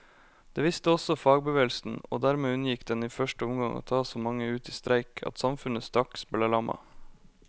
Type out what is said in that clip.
Det visste også fagbevegelsen, og dermed unngikk den i første omgang å ta så mange ut i streik at samfunnet straks ble lammet.